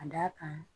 Ka d'a kan